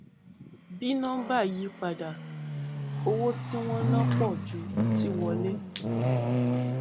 bí nọmbà yí padà owó tí wọn ná pọ ju tí wọlé